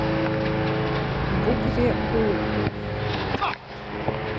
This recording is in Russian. букве у